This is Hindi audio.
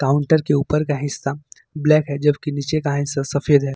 काउंटर के ऊपर का हिस्सा ब्लैक है जब के नीचे का हिस्सा सफेद है।